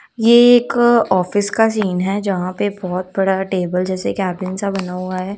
ये एक ऑफिस का सीन है जहां पे बहुत बड़ा टेबल जैसे केबिन सा बना हुआ है।